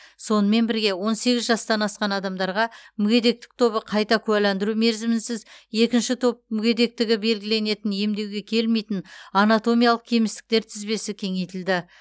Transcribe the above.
сонымен бірге он сегіз жастан асқан адамдарға мүгедектік тобы қайта куәландыру мерзімінсіз екінші топ мүгедектігі белгіленетін емдеуге келмейтін анатомиялық кемістіктер тізбесі кеңейтілді